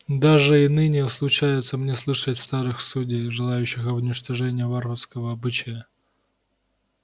даже и ныне случается мне слышать старых судей жалеющих об уничтожении варварского обычая